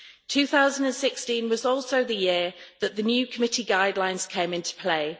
2016 was also the year when the new committee guidelines came into play.